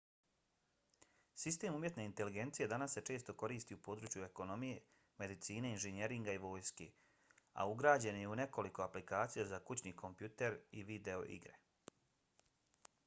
sistem umjetne inteligencije danas se često koristi u području ekonomije medicine inženjeringa i vojske a ugrađen je i u nekoliko aplikacija za kućni kompjuter i video igre